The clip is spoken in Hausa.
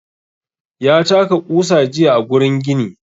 Ya taka ƙusa jiya a gurin gini.